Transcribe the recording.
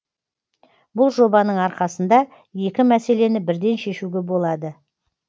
бұл жобаның арқасында екі мәселені бірден шешуге болады